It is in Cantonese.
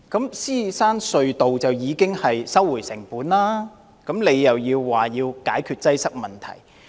在獅子山隧道方面，當局已收回成本，他卻表示要解決擠塞問題。